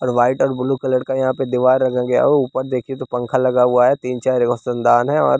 और वाइट और blue colour का यहाँ पे दीवार रंगा गया है ऊपर देखिए तो पंखा लगा हुआ है तीन चार रोशनदान है और--